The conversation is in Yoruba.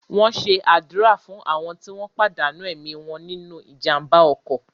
Wón ṣe àdúrà fún àwọn tí wọ́n pàdánù ẹ̀mí wọn nínu ìjàmbá ọkọ̀